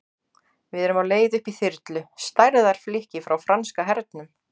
Við erum á leið upp í þyrlu, stærðar flikki frá franska hernum.